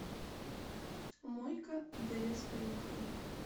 мой ка дээс поехали